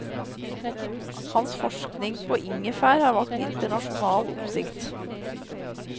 Hans forskning på ingefær har vakt internasjonal oppsikt.